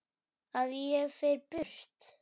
Að ég fer burt.